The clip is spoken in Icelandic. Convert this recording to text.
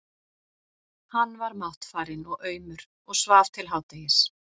Hann var máttfarinn og aumur og svaf til hádegis.